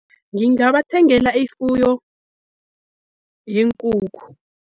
Ngingabathengela ifuyo yeenkukhu.